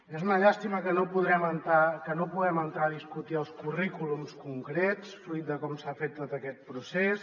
és una llàstima que no puguem entrar a discutir els currículums concrets fruit de com s’ha fet tot aquest procés